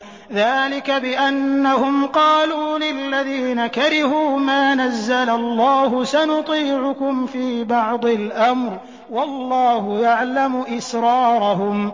ذَٰلِكَ بِأَنَّهُمْ قَالُوا لِلَّذِينَ كَرِهُوا مَا نَزَّلَ اللَّهُ سَنُطِيعُكُمْ فِي بَعْضِ الْأَمْرِ ۖ وَاللَّهُ يَعْلَمُ إِسْرَارَهُمْ